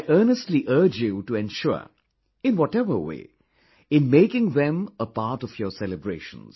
I earnestly urge you to ensure, in whatever way, in making them a part of your celebrations